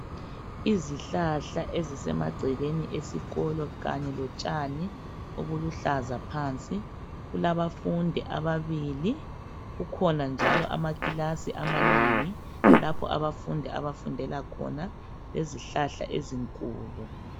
Izihlahla ezisemagcekeni esikolo kanye lotshani obuluhlaza phansi . Kulabafundi ababili, kukhona njalo amakilasi amanengi lapho abafundi abafundela khona kwezihlahla ezinkulu.